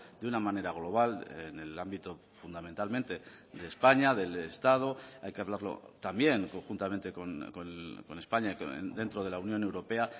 de una manera global en el ámbito fundamentalmente de españa del estado hay que hablarlo también conjuntamente con españa dentro de la unión europea